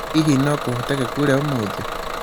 hihi no kūhoteke kure ūmūthi